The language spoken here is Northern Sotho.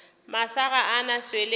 masa ga a na swele